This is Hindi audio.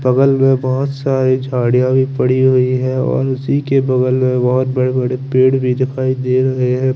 बगल मेप बहोत सारी गाडिया भी पड़ी हुई है और उसी के बगल में बहोत बड़े बड़े पेड़ भी दिखाई दे रहे है।